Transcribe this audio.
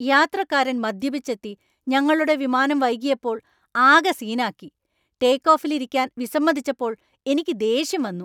യാത്രക്കാരൻ മദ്യപിച്ചെത്തി ഞങ്ങളുടെ വിമാനം വൈകിയപ്പോൾ ആകെ സീനാക്കി ടേക്ക് ഓഫിൽ ഇരിക്കാൻ വിസമ്മതിച്ചപ്പോൾ എനിക്ക് ദേഷ്യം വന്നു .